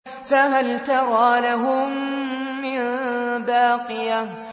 فَهَلْ تَرَىٰ لَهُم مِّن بَاقِيَةٍ